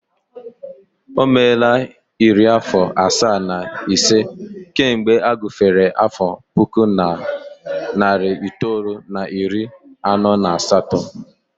O meela iri afọ asaa na ise kemgbe a gufere afọ puku na narị itoolu na iri anọ na asatọ